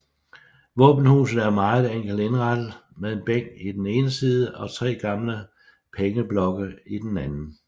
Våbenhuset er meget enkelt indrettet med en bænk i den ene side og tre gamle pengeblokke i den anden